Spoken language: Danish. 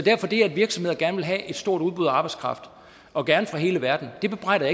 det at virksomheder gerne vil have et stort udbud af arbejdskraft og gerne fra hele verden bebrejder